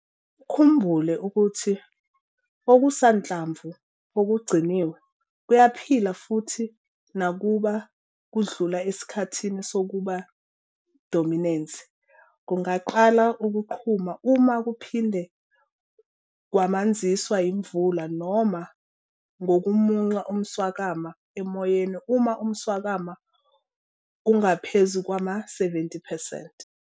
Ukhumbule ukuthi okusanhlamvu okugciniwe, kuyaphila futhi nakuba kudlula esikhathini sokuba dominensi kungaqala ukuqhuma uma kuphinde kwamanziswa yimvula noma ngokumunca umswakama emoyeni uma umswakama ungaphezu kwama-70 percent.